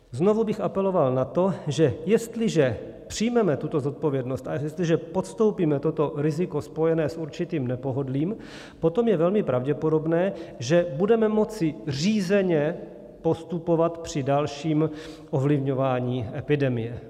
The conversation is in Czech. Znovu bych apeloval na to, že jestliže přijmeme tuto zodpovědnost a jestliže podstoupíme toto riziko spojené s určitým nepohodlím, potom je velmi pravděpodobné, že budeme moci řízeně postupovat při dalším ovlivňování epidemie.